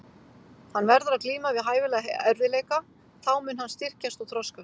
Hann verður að glíma við hæfilega erfiðleika, þá mun hann styrkjast og þroskast.